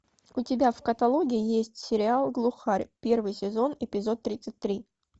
у тебя в каталоге есть сериал глухарь первый сезон эпизод тридцать три